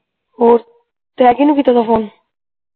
ਹੋਰ ਕਿਹਨੂੰ ਕੀਤਾ ਸੀਗਾ ਫੋਨ